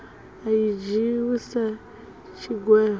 a i dzhiiwi sa tshigwevho